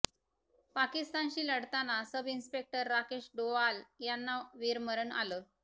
पाकिस्तानशी लढताना sub inspector Rakesh Doval यांना वीरमरण आलं